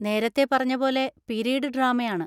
നേരത്തെ പറഞ്ഞപോലെ പീരീഡ് ഡ്രാമയാണ്.